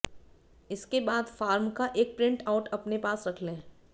इसके बाद फॉर्म का एक प्रिंट आउट अपने पास रख लें